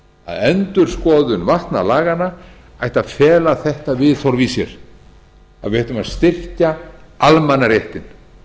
að endurskoðun vatnalaganna ætti að fela þetta viðhorf í sér að við ættum að styrkja almannaréttinn